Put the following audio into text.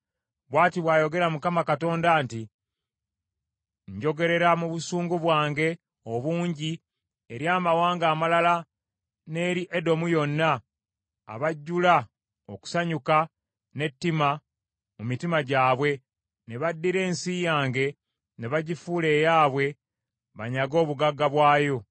Bw’ati bw’ayogera Mukama Katonda nti; Njogerera mu busungu bwange obungi eri amawanga amalala n’eri Edomu yonna, abajjula okusanyuka n’ettima mu mitima gyabwe, ne baddira ensi yange ne bagifuula eyaabwe banyage obugagga bwayo.’